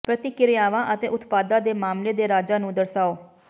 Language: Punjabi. ਪ੍ਰਤੀਕ੍ਰਿਆਵਾਂ ਅਤੇ ਉਤਪਾਦਾਂ ਦੇ ਮਾਮਲੇ ਦੇ ਰਾਜਾਂ ਨੂੰ ਦਰਸਾਓ